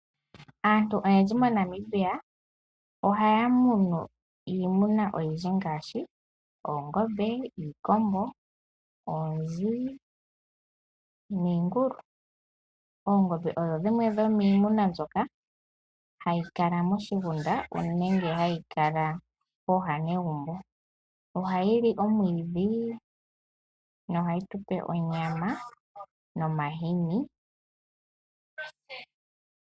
Aantu oyendji moNamibia ohaya munu iimuna oyindji ngaashi oongombe, iikombo, oonzi niingulu. Oongombe odho dhimwe dhomiimuna mbyoka hayi kala moshigunda nenge hayi kala mooha negumbo. Ohayi li omwiidhi nohayi tu pe onyama nomahini.